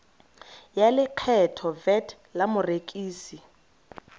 ya lekgetho vat la morekisi